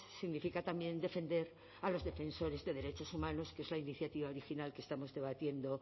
significa también defender a los defensores de derechos humanos que es la iniciativa original que estamos debatiendo